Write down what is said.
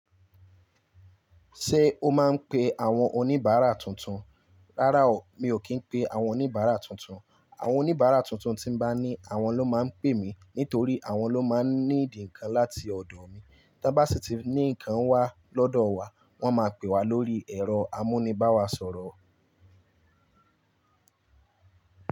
Ṣé o máa ń pe àwọn oníbàárà tuntun? Rárá o, mi ò kì í pe àwọn oníbàárà tuntun. Àwọn oníbàárà tuntun tí n bá ní àwọn ló máa ń pè mí nítorí àwọn ló máa ń need nkan láti ọ̀dọ̀ mi. Tàn bá sì ti ní nǹkan wá lọ́dọ̀ wa, wọ́n máa pè wá lórí ẹ̀rọ amúnibáwàsọ̀rọ̀